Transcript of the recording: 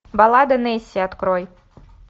балада несси открой